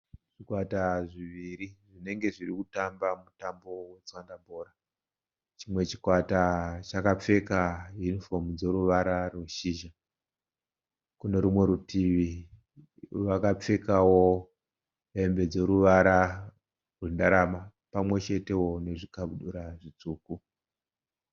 Zvikwata zviviri zvenenge zviri kutamba mutambo wetswanda bhora. Chimwe chikwata chakapfeka yunifomu dzoruvara rweshizha. Kune rumwe rutivi vakapfekawo hembe dzoruvara rwenderama pamwe chetewo nezvikabudura zvitsvuku.